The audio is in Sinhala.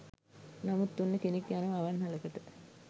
නමුත් ඔන්න කෙනෙක් යනවා අවන්හලකට